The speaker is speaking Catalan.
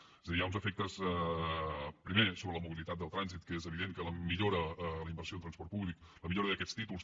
és a dir hi ha uns efectes primer sobre la mobilitat del trànsit perquè és evident que la millora en la inversió en transport públic la millora d’aquests títols